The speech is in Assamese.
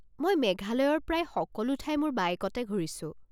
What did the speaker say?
মই মেঘালয়ৰ প্ৰায় সকলো ঠাই মোৰ বাইকতে ঘূৰিছো।